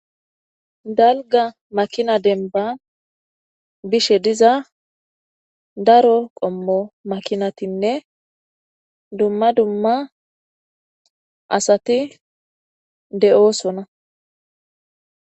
Dalgga makina denbba bishe diza daro qommo makinatinne dumma dumma asati de'oosona.